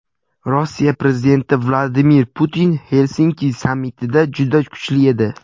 Rossiya prezidenti Vladimir Putin Xelsinki sammitida juda kuchli edi.